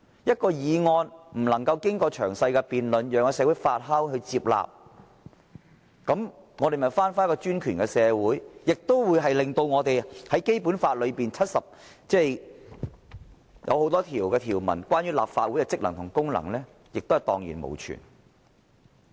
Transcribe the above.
一項法案不能經過詳細辯論，讓社會發酵和接納，豈不是回到專權的社會，而且令《基本法》所訂明的多項有關立法會職能的條文蕩然無存？